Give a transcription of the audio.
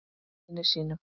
Vini sínum.